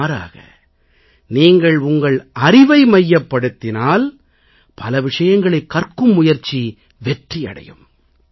மாறாக நீங்கள் உங்கள் அறிவை மையப்படுத்தினால் பல விஷயங்களைக் கற்கும் முயற்சி வெற்றியடையும்